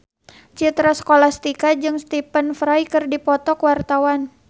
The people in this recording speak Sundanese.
Citra Scholastika jeung Stephen Fry keur dipoto ku wartawan